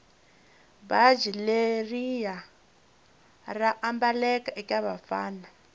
bhatji leriya raambaleka ekavafana